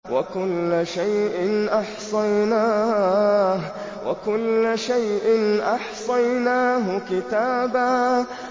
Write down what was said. وَكُلَّ شَيْءٍ أَحْصَيْنَاهُ كِتَابًا